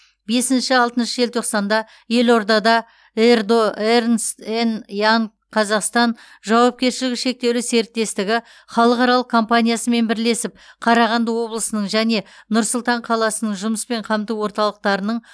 бесінші алтыншы желтоқсанда елордада ердо эрнст энд янг қазақстан жауапкершілігі шектеулі серіктестігі халықаралық компаниясымен бірлесіп қарағанды облысының және нұр сұлтан қаласының жұмыспен қамту орталықтарының